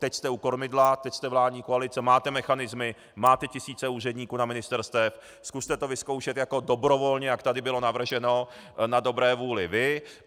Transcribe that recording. Teď jste u kormidla, teď jste vládní koalice, máte mechanismy, máte tisíce úředníků na ministerstvech, zkuste to vyzkoušet jako dobrovolně, jak tady bylo navrženo na dobré vůli vy.